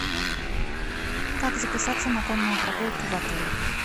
как записаться на конную прогулку в отеле